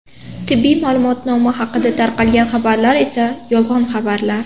Tibbiy ma’lumotnoma haqida tarqalgan xabarlar esa yolg‘on xabarlar.